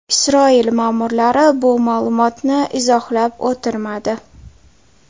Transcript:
Isroil ma’murlari bu ma’lumotni izohlab o‘tirmadi.